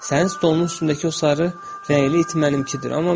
Sənin stolunun üstündəki o sarı rəngli it mənimkidir.